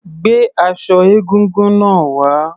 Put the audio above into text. Gbé aṣọ egúngún náà wá.